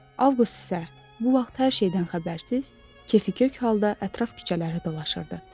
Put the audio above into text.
Avqust isə bu vaxt hər şeydən xəbərsiz, kəskin-göygöy halda ətraf küçələri dolaşırdı.